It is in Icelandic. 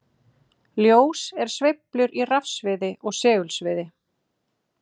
Ljós er sveiflur í rafsviði og segulsviði.